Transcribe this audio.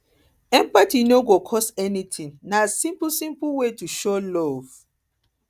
empathy no go cost anything na simple simple way to show love